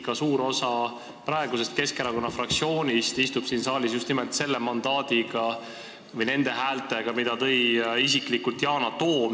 Ka suur osa praegusest Keskerakonna fraktsioonist istub siin saalis just nimelt tänu nendele häältele, mis kogus isiklikult Yana Toom.